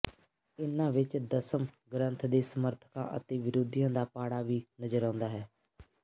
ਇਹਨਾਂ ਵਿੱਚ ਦਸਮ ਗ੍ਰੰਥ ਦੇ ਸਮਰਥਕਾਂ ਅਤੇ ਵਿਰੋਧੀਆ ਦਾ ਪਾੜਾ ਵੀ ਨਜ਼ਰ ਆਉਂਦਾ ਹੈ